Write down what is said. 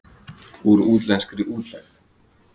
Úr útlenskri útlegð.